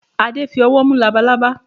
Adé fi ọwọ́ mú labalaba.